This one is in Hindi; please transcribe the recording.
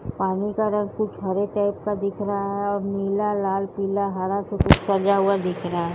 पानी का रंग कुछ हरे टाइप का दिख रहा है और नीला लाल पीला हरा कुछ सजा हुआ दिख रहा है।